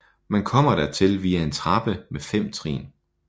Man kommer dertil via en trappe med fem trin